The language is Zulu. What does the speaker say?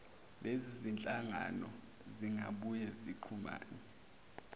lezizinhlangano zingabuye zixhumane